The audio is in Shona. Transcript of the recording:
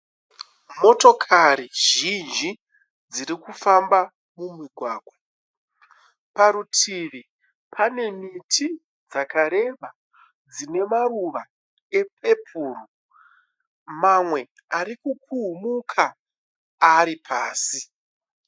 Motikari zhinji dziri kufamba mumugwagwa. Parutivi pane miti yakareba ine maruva epepuru. Mamwe arikukuhumuka aripasi.